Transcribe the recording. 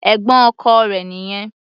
Ẹ̀gbọ́n ọkọ rẹ̀ nìyẹn.